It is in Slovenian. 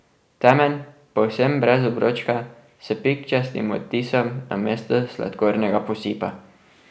Temen, povsem brez obročka, s pikčastim odtisom namesto sladkornega posipa.